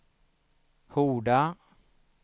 Horda